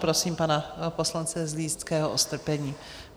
Prosím pana poslance Zlínského o strpení.